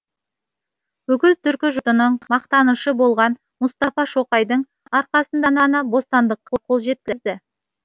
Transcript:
бүкіл түркі жұртының мақтанышы болған мұстафа шоқайдың арқасында ғана бостандыққа қол жеткізді